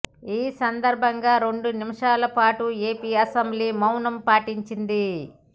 ఈ సందర్భంగా రెండు నిమిషాల పాటు ఏపీ అసెంబ్లీ మౌనం పాటించింది